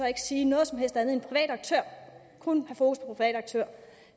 ikke sige noget som helst andet end en privat aktør